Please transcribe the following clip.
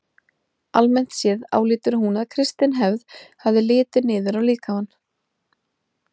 Almennt séð álítur hún að kristin hefð hafi litið niður á líkamann.